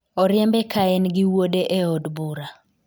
oriembe ka en gi wuode e od bura